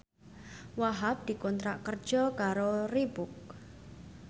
Wahhab dikontrak kerja karo Reebook